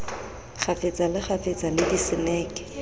kgafetsa le kgafetsa le diseneke